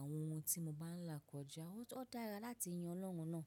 àwọn ohun tí mo bá ń là kọjá. Ó dára láti yin Ọlọ́run náà.